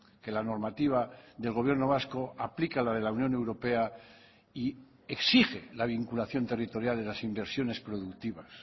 que la normativa del gobierno vasco aplica la de la unión europea y exige la vinculación territorial de las inversiones productivas